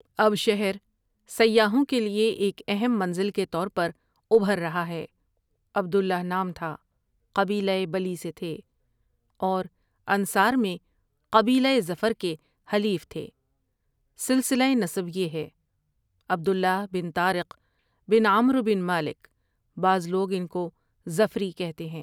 اب شہر سیاحوں کے لیے ایک اہم منزل کے طور پر ابھر رہا ہے عبد اللہ نام تھا، قبیلۂ بلی سے تھے اورانصار میں قبیلۂ ظفر کے حلیف تھے، سلسلۂ نسب یہ ہے، عبد اللہ بن طارق بن عمرو بن مالک، بعض لوگ ان کو ٖظفری کہتے ہیں ۔